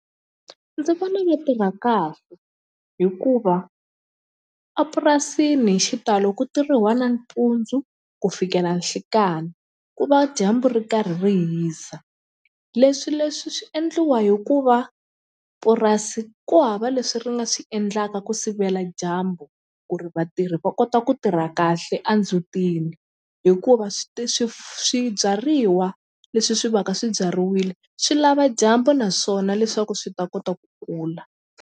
Ndzi vona mi tirha kahle hikuva a purasini hi xitalo ku tirhiwa nampundzu ku fikela nhlikani ku va dyambu ri karhi ri hisa leswi leswi swi endliwa hikuva purasi ku hava leswi ri nga swi endlaka ku sivela dyambu ku ri vatirhi va kota ku tirha kahle a ndzutini hikuva swibyariwa leswi swi va ka swibyariwile swi lava dyambu naswona leswaku swi ta kota ku kula.